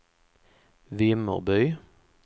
Vimmerby